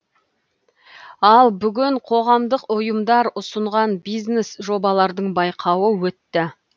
ал бүгін қоғамдық ұйымдар ұсынған бизнес жобалардың байқауы өтті